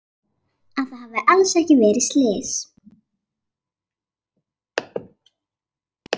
Að það hafi alls ekki verið slys.